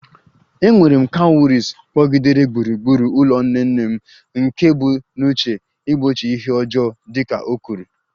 E nwere cowries kpọgidere gburugburu ụlọ nne nne m, nke e bu n'uche igbochi ihe ọjọọ dị ka o kwuru